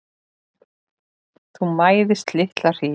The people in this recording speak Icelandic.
Þú mæðist litla hríð.